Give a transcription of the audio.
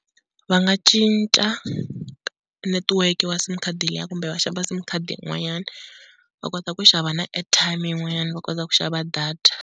Va nga cinca network wa sim card liya kumbe va xava sim card yin'wanyana, va kota ku xava na airtime yin'wanyana va kota ku xava data.